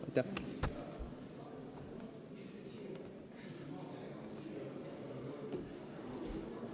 Aitäh!